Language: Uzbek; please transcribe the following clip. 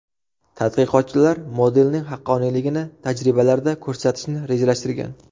Tadqiqotchilar modelning haqqoniyligini tajribalarda ko‘rsatishni rejalashtirgan.